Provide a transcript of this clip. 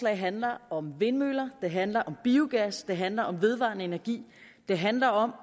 handler om vindmøller det handler om biogas det handler om vedvarende energi det handler om